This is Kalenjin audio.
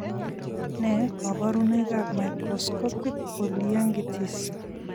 Ne kaborunoik ab microscopic polyangiitis?